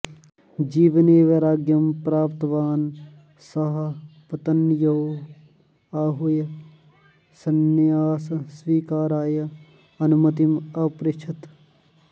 जीवने वैराग्यं प्राप्तवान् सः पत्न्यौ आहूय संन्यासस्वीकाराय अनुमतिम् अपृच्छत्